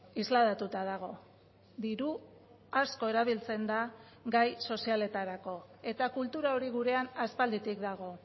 islatuta dago diru asko erabiltzen da gai sozialetarako eta kultura hori gurean aspalditik dago